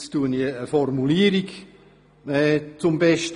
folgende Formulierung einfügen: